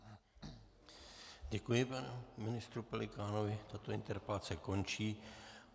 Děkuji panu ministru Pelikánovi, tato interpelace končí.